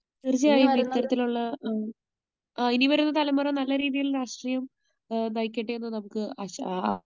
തീർച്ചയായും ഇത്തരത്തിലുള്ള, ഇനി വരുന്ന തലമുറ നല്ലരീതിയിൽ രാഷ്ട്രീയം നയിക്കട്ടെ എന്ന് നമുക്ക് ആശ